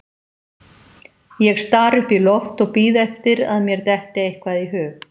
Ég stari upp í loft og bíð eftir að mér detti eitthvað í hug.